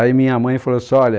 Aí minha mãe falou assim, olha...